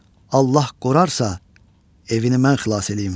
Allah qorarsa, evini mən xilas eləyim.